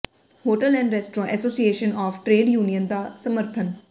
hotel and restaurant association of trade union ਦਾ ਸਮਰਥਨ